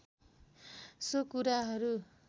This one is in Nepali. सो कुराहरू